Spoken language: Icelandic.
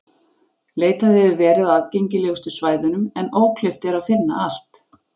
Leitað hefur verið á aðgengilegustu svæðunum en ókleift er að finna allt.